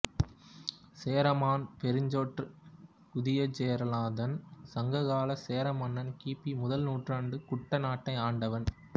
சேரமான் பெருஞ்சோற்று உதியஞ்சேரலாதன் சங்க காலச் சேர மன்னன் கி பி முதல் நூற்றாண்டில் குட்டநாட்டைஆண்டவன்